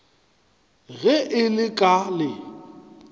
ge e le ka le